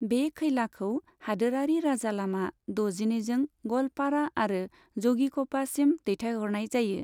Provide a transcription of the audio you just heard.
बे खैलाखौ हादोरारि राजालामा द'जिनैजों ग'लपारा आरो ज'गिघ'पासिम दैथायहरनाय जायो।